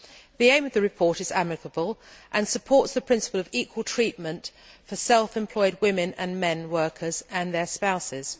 The aim of the report is admirable and supports the principle of equal treatment for self employed women and men workers and their spouses.